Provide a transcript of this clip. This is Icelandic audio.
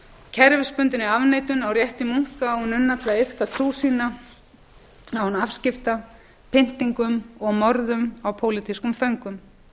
kerfisbundinni afneitun á rétti munka og nunna til að iðka trú sína án afskipta pyndingum og morðum á pólitískum föngum